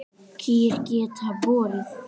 Kýr geta borið